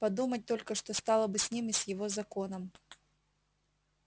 подумать только что стало бы с ним и с его законом